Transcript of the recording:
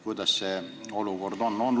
Kuidas see olukord on?